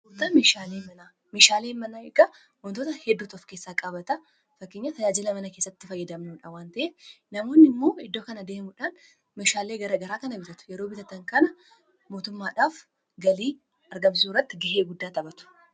taan mishaalee mana eggaa wontoota hedduut of keessaa qabataa fakkinya tajaajila mana kessatti fayyadamnuudhawwan ta'e namoonni immoo iddoo kana deemudhaan mishaalee garaa kana bitatu yeroo bitatan kana mootummaadhaaf galii argamsisu ratti gihee guddaa xaphatu